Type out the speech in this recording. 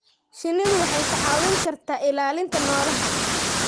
Shinnidu waxay kaa caawin kartaa ilaalinta noolaha.